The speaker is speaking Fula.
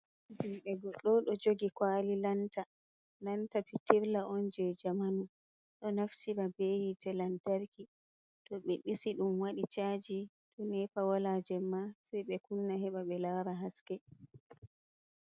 Jude goddo do jogi ƙwali lanta. Lanta pitirlla on je jamanu. Do naftira be hite lantarki. To be disi dum wadi ca'aji. To nepa wala jemma sei be kunna heɓa be lara haske.